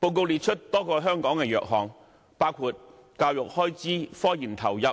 報告列出香港多個弱項，包括教育開支、科研投入、